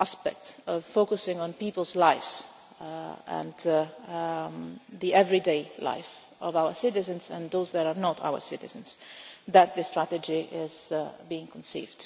aspect of focusing on people's lives and the everyday life of our citizens and those that are not our citizens that this strategy is being conceived.